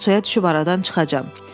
Mən suya düşüb aradan çıxacam.